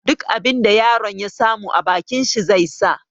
Duk abin da yaron ya samu a bakin shi zai sa.